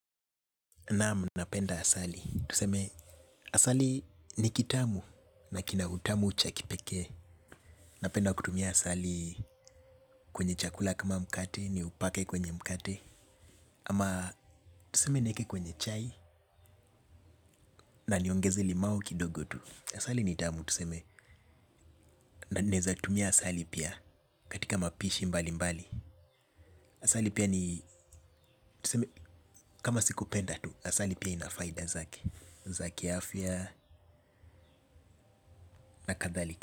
Naamu napenda asali, tuseme asali ni kitamu na kinautamu chakipekee. Napenda kutumia asali kwenye chakula kama mkate ni upake kwenye mkate. Ama tuseme nieke kwenye chai na niongeze limau kidogo tu. Asali nitamu tuseme na ninaeza tumia asali pia katika mapishi mbali mbali. Asali pia ni tuseme kama siku penda tu asali pia inafaida zaki zaki afya na kathalika.